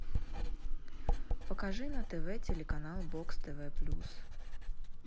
покажи на тв телеканал бокс тв плюс